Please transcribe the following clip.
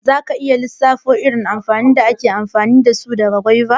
Za ka iya lissafo irin amfanin da ake girbarsu daga saiwa?